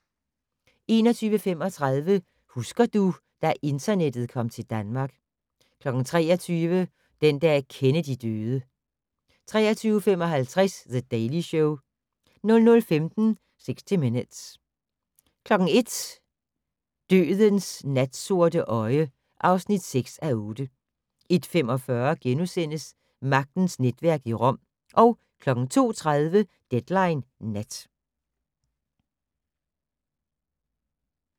21:35: Husker du - da internettet kom til Danmark 23:00: Den dag Kennedy døde 23:55: The Daily Show 00:15: 60 Minutes 01:00: Dødens natsorte øje (6:8) 01:45: Magtens netværk i Rom * 02:30: Deadline Nat